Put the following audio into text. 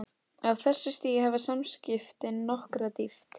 Á þessu stigi hafa samskiptin nokkra dýpt.